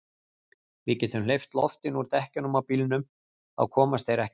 Við getum hleypt loftinu úr dekkjunum á bílnum. þá komast þeir ekkert.